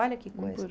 Olha que coisa.